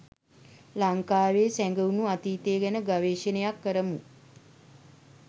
ලංකාවේ සැඟවුණු අතීතය ගැන ගවේෂණයක් කරමු.